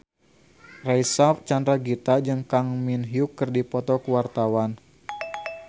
Reysa Chandragitta jeung Kang Min Hyuk keur dipoto ku wartawan